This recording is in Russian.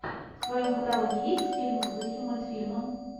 в твоем каталоге есть фильм в духе мультфильма